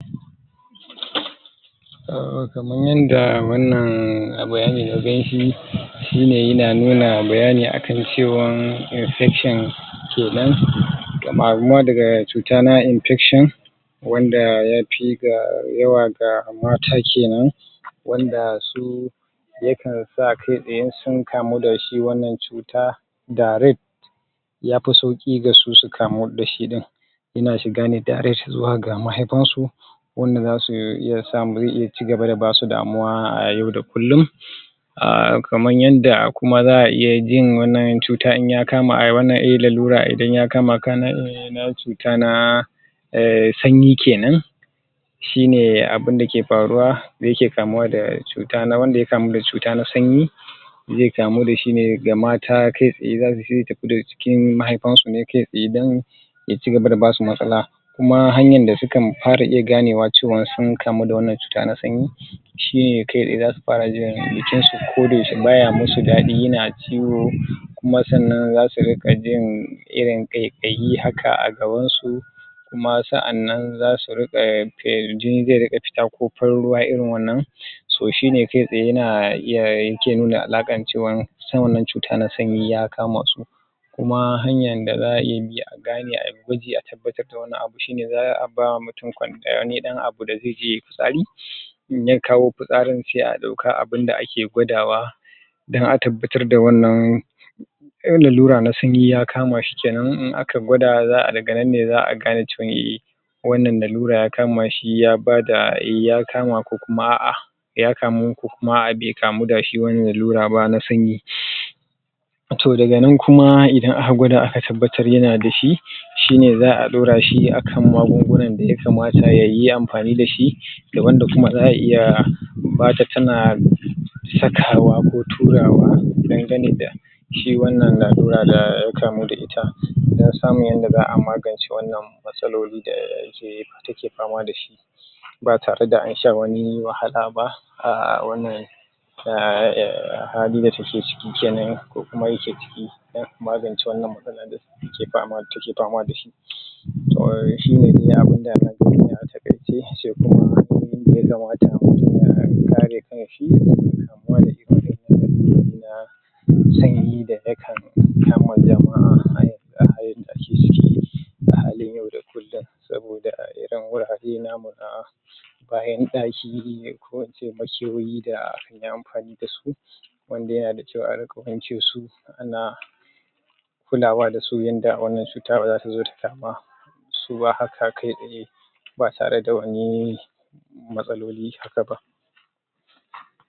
um kaman yanda wanna bayani na gan shi shi ne yana nuna bayani a kan cewan infection kenan daga cuta na infection wanda ya fi ga waya ga mata kenan wanda su yakan sa kai tsaye in sun kamu da shi wannan cuta direct ya fi sauki ga su su kamu da shi ɗin ina shi ga ne direct zuwa ga mahaifan su wanda za su iya samu za iya cigaba da basu damuwa a yau da kulum ahh kaman yanda kuma za a iya jin wannan cuta in ya kama a eh wannan lalura idan ya kama ka na na cuta na eh sanyi kenan shi ne abin da ke faruwa da ya ke kamuwa da cuta na wanda ya kamu da cuta na sanyi zai kamu da shi ne ga mata kai tsaye za zai tafi da cikin mahaifan su ne kai tsaye dun ya ci gaba da ba su matsala kuma hanyar da su kan fara ganewa cewa da sun kamu da wannan cuta na sanyi shi ne kai tsaye za su fara jin jikin su ko da yaushe ba ya masu daɗi yana ciwo kuma sannan za su rinka jin irin ƙaiƙayi haka a gaban su kuma sa’annan za su rika jini zai rika fita ko farin ruwa irin wannan so shi ne kai tsaye yana iya yake nuna alakan cewa ita wannan cuta na sanyi ya kama su, kuma hanyan da za a iya bi a gane a baje a tabbatar da wannan abu shi ne za a ba wa mutum wani dan abu da zai je ya yi fitsari in ya kawo fitsarin sai a ɗauka abun da ake gwadawa idan aka fitar da wannan lalura na sanyi ya kama shi kenan in aka gwada za a daga nan ne za a gane cewa e wannan lalura ya kama shi ya ba da eh ya kama ko kuma a’a, ya kamu ko kuma bai kamu da shi wani lalura ba na sanyi, toh daga nan kuma idan aka gwada aka tabbatar ya na da shi shine za a ɗaura shi a kan magungunan da ya kamata ya yi amfani da shi da wanda kuma za a iya ba ta tana sakawa ko turawa dangane da shi wannan lalura da ya kamu da ita dun samu yanda za a magance wannan matsaloli da ke take fama da shi ba tare da an sha wani wahala ba a wannan [errr] hali da take ciki kenan ko kuma ya ke ciki dun magance wannan matsala da ke pama take fama da shi, toh shi ne abin da na gani ne a takaice, sai kuma ainihi in da mutum ya kamata ya kare kan shi daga kamuwa da irin na sanyi da ya kan kama jama’a a a halin yau da kulun soboda irin wurare namu na bayan daki ko in ce makiyoyi da an yi amfani da su wanda ana cewar ka wanke su na kulawa da su yanda wannan cuta ba za ta zo dama su ba haka kai tsaye ba tare da wani matsaloli haka ba.